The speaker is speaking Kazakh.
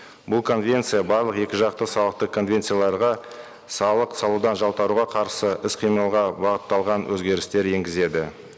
бұл конвенция барлық екі жақты салықтық конвенцияларға салық салудан жалтаруға қарсы іс қимылға бағытталған өзгерістер енгізеді